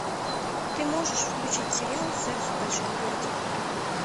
ты можешь включить сериал секс в большом городе